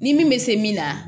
Ni min bɛ se min na